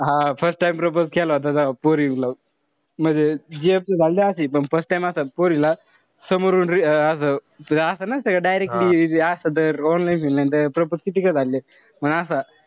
हा first time propose केला होता म्हणजे gf त झालती अशी पण first time असं पोरीला समोरून असं असं नसत नसता का directly जे असं ते propose कितीका झाले पण असं,